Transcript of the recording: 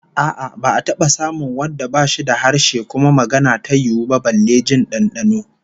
A'a, ba'a taba samun wanda bashi da harshe kuma magana ta yiwu ba, balle jin dandano